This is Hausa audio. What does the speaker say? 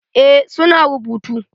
Eh su na rubutu.